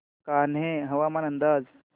कान्हे हवामान अंदाज